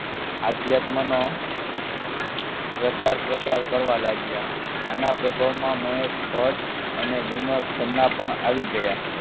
અધ્યાત્મ નો પ્રચાર પ્રસાર કરવા લાગ્યા આના પ્રભાવમાં મહેશ ભટ્ટ અને વિનોદ ખન્ના પણ આવી ગયા.